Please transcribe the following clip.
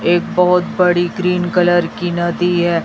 एक बहुत बड़ी ग्रीन कलर की नदी है।